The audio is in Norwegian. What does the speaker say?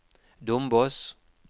Dombås